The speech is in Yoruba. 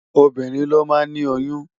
Óbirín ló má ni óyùn